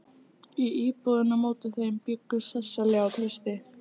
Í íbúðinni á móti þeim bjuggu Sesselía og Trausti.